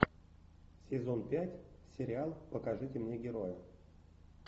сезон пять сериал покажите мне героя